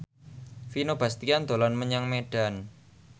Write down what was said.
Vino Bastian dolan menyang Medan